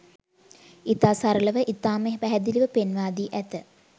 ඉතා සරළව ඉතාම පැහැදිළිව පෙන්වාදී ඇත.